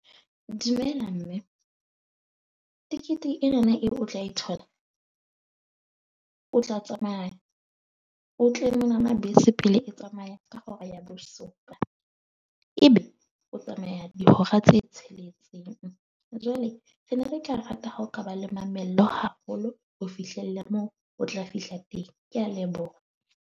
Dumela mme, ticket ena na eo o tla e thola. O tla tsamaya o tle mona pele bese e tsamaya ka hora ya bosupa. Ebe o tsamaya dihora tse tsheletseng. Jwale re ne re tla rata ha o ka ba le mamello haholo, o fihlelle mo o tla fihla teng. Ke a leboha.